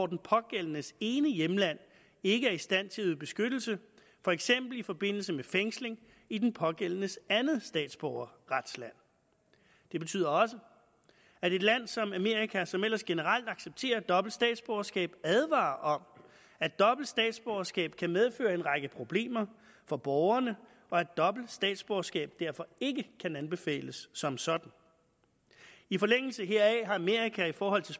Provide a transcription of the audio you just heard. den pågældendes ene hjemland ikke er i stand til at yde beskyttelse for eksempel i forbindelse med fængsling i den pågældendes andet statsborgerretsland det betyder også at et land som amerika som ellers generelt accepterer dobbelt statsborgerskab advarer om at dobbelt statsborgerskab kan medføre en række problemer for borgerne og at dobbelt statsborgerskab derfor ikke kan anbefales som sådan i forlængelse heraf har amerika i forhold til